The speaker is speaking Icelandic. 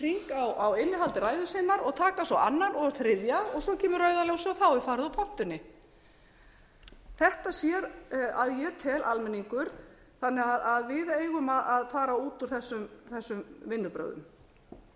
hring á innihald ræðu sinnar taka svo annan og þriðja og svo kemur rauða ljósið og þá er farið úr pontunni þetta sér að ég tel almenningur þannig að við eigum að fara út úr þessum